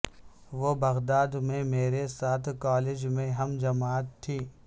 وہ بغداد میں میرے ساتھ کالج میں ہم جماعت تھی